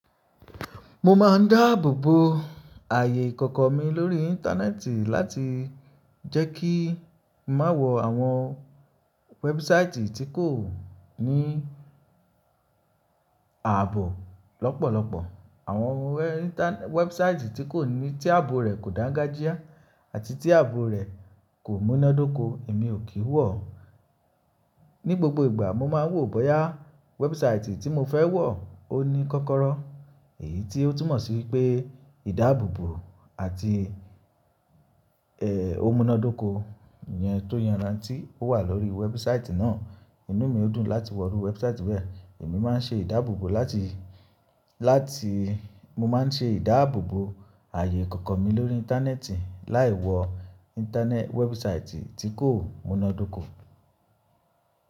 Mo máa ń dáàbòbo ààyè ìkọ̀kọ̀ mi lórí Íńtánẹ́ẹ̀tì láti jẹ́ kí mà wọ̀ àwọn wẹ́ẹ̀bùsáìtì tí kò ní ààbò lọ́pọ̀lọpọ̀. Àwọn wẹ́ẹ̀bùsáìtì tí ààbò rẹ̀ kò dáńgájíá àti tí ààbò rẹ̀ kò múnádóko, èmi ò kí wọ̀. Ní gbogbo ìgbà mo máa ń wò bóyá wẹ́ẹ̀bùsáìtì tí mo fẹ́ wọ̀ ó ní kọ́kọ́rọ́, èyí tí ó túmọ̀ sí pé ìdáàbòbò àti ẹ́, o múnádóko iyẹn tó yánrantí ó wà lórí wẹ́ẹ̀bùsáìtì náà. Inú mi ó dùn láti wọ̀rú wẹ́ẹ̀bùsáìtì bẹ́ẹ̀. Èmi máa ń ṣe ìdáàbòbò láti, láti, mo máa ń ṣe ìdáàbòbò ààyè ìkọ̀kọ̀ mi lórí Íńtánẹ́ẹ̀tì láì wọ wẹ́ẹ̀bùsáìtì tí kò múnádóko.